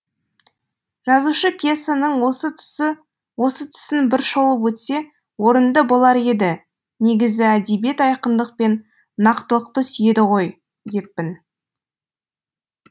жазушы пьесаның осы тұсын бір шолып өтсе орынды болар еді негізі әдебиет айқындық пен нақтылықты сүйеді ғой деппін